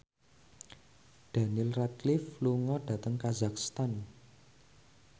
Daniel Radcliffe lunga dhateng kazakhstan